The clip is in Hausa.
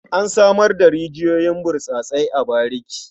An samar da rijiyoyin burtsatse a bariki.